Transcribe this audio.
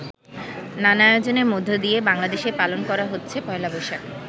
নানা আয়োজনের মধ্য দিয়ে বাংলাদেশে পালন করা হচ্ছে পহেলা বৈশাখ।